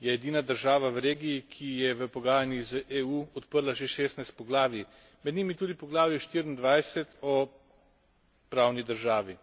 Je edina država v regiji, ki je v pogajanjih z EU odprla že šestnajst poglavij, med njimi tudi poglavje 24 o pravni državi.